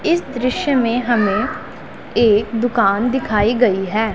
इस दृश्य में हमें एक दुकान दिखाई गई है।